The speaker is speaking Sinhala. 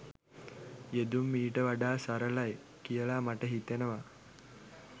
යෙදුම් ඊට වඩා සරලයි කියලා මට හිතෙනවා